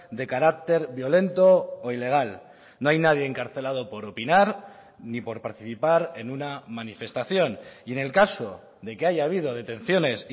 de carácter violento o ilegal no hay nadie encarcelado por opinar ni por participar en una manifestación y en el caso de que haya habido detenciones